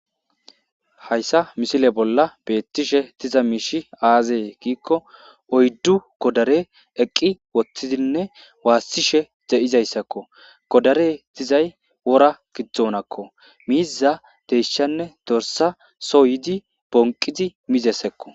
Haysa misile bolla betishe diza mishi aze gikko oydu godare eqi utidinne wasishe de'izaysakko godare dizay wora gidonakko miiza deyshanne dorsa so yidi bonqidi mizaysakko